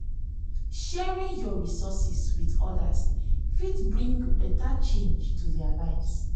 sharing yur resources with odas fit bring beta change to their lives.